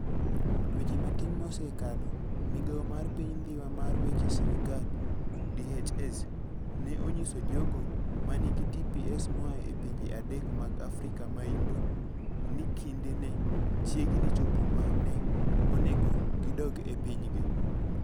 Dweche matin mosekalo, Migawo mar Piny Dhiwa mar Weche Sirkal (DHS) ne onyiso jogo ma nigi TPS moa e pinje adek mag Afrika ma Yimbo, ni kinde ne chiegni chopo ma ne onego gidog e pinygi.